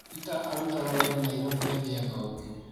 Peter arutaga wĩra Nairobi agietha ũngĩ